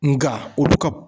Nga olu ka